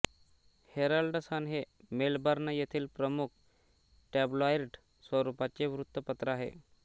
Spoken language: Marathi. हेरल्ड सन हे मेलबर्न येथील प्रमुख टॅब्लॉईड स्वरुपाचे वृत्तपत्र आहे